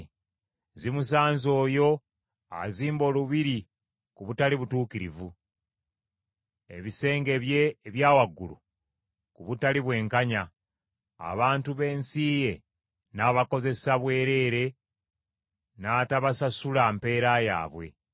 “Zimusanze oyo azimba olubiri ku butali butuukirivu, ebisenge bye ebya waggulu ku butali bwenkanya abantu b’ensi ye n’abakozeseza bwereere n’atabasasula mpeera yaabwe.